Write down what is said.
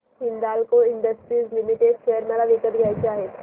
Hindalco industries limited share मला विकत घ्यायचे आहेत